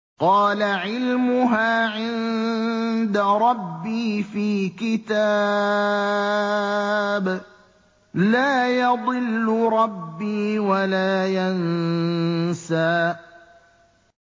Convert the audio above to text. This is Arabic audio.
قَالَ عِلْمُهَا عِندَ رَبِّي فِي كِتَابٍ ۖ لَّا يَضِلُّ رَبِّي وَلَا يَنسَى